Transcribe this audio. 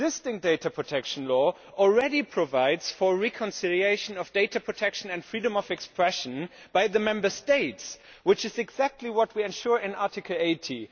The existing data protection law already provides for reconciliation of data protection and freedom of expression by the Member States, which is exactly what we ensure in Article80.